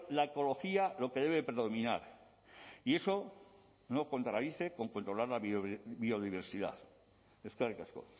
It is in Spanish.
la ecología lo que debe predominar y eso no contradice con controlar la biodiversidad eskerrik asko